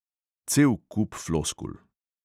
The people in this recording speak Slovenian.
Cel kup floskul.